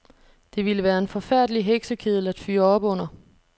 Det ville være en forfærdelig heksekedel at fyre op under.